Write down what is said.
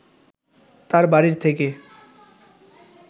তার বাড়ি থেকে